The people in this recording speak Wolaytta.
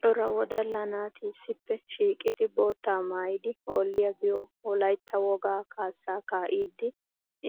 Cora wodalla naati issippe shiiqqidi boottaa maayyidi hoolliya giyo wolaytta woga kaassa kaa'idi